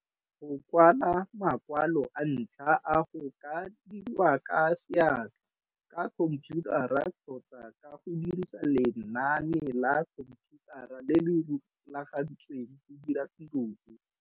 Go kwala makwalo a ntlha a go ka dirwa ka seatla, ka khompiutara kgotsa ka go dirisa lenane la khompiutara le le rulagantsweng go dira tiro e.